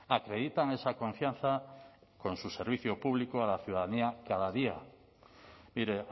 acreditan esa confianza con su servicio público a la ciudadanía cada día mire